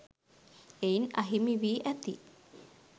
එයින් අහිමි වී ඇති